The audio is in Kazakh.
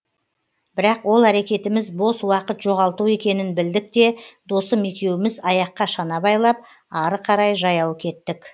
бірақ ол әрекетіміз бос уақыт жоғалту екенін білдік те досым екеуіміз аяққа шана байлап ары қарай жаяу кеттік